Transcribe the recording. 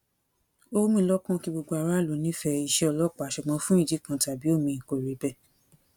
ó wù mí lọkàn kí gbogbo aráàlú nífẹẹ iṣẹ ọlọpàá ṣùgbọn fún ìdí kan tàbí òmíì kò rí bẹẹ